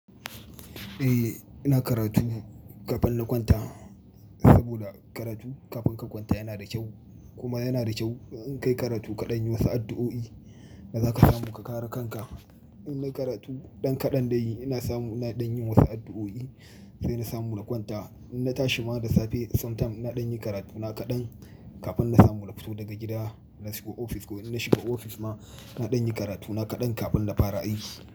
Eh, ina karatu kafin na kwanta saboda karatu kafin ka kwanta yana da kyau, kuma yana da kyau in kayi karatu kaɗan yi, wasu addu'o'i da za ka samu ka kare kanka. In na karatu ɗan kaɗan dai ina samu, ina ɗan yin wasu addu'o'i sai na samu na kwanta. In na tashi ma da safe, sometime ina ɗan yi karatu na kaɗan kafin na samu na fito daga gida ina shiga ofis ko in na shiga ofis ma na ɗan yi karatu na kaɗan kafin na fara aiki.